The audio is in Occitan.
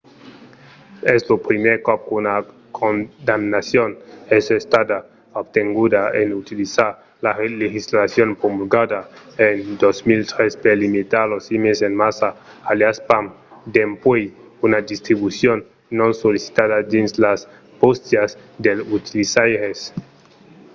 es lo primièr còp qu'una condamnacion es estada obtenguda en utilizar la legislacion promulgada en 2003 per limitar los emails en massa aliàs spam dempuèi una distribucion non sollicitada dins las bóstias dels utilizaires